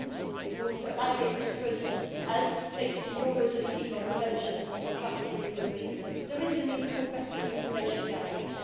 In order to evaluate this process, as stated in your resolution on the prevention of trafficking in human beings, there is a need for better information gathering.